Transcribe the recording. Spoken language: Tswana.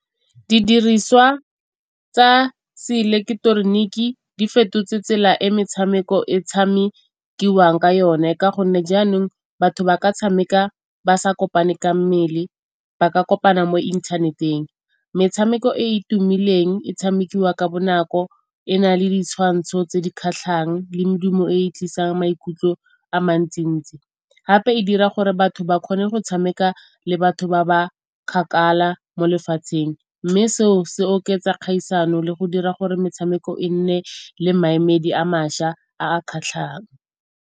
Didiriswa tsa seileketeroniki di fetotse tsela e metshameko e tshamekiwang ka yone. Ka gonne jaanong batho ba ka tshameka ba sa kopane ka mmele ba ka kopana mo inthaneteng, metshameko e e tumileng e tshamekiwa ka bonako e na le ditshwantsho tse di kgatlhang le medumo e e tlisang maikutlo a mantsi-ntsi. Gape e dira gore batho ba kgone go tshameka le batho ba ba kgakala mo lefatsheng mme se o se oketsa kgaisano le go dira gore metshameko e nne le maemedi a mašwa a a kgatlhang.